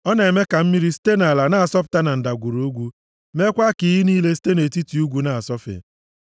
Ọ na-eme ka mmiri, site nʼala na-asọpụta na ndagwurugwu, meekwa ka iyi niile site nʼetiti ugwu na-asọfe.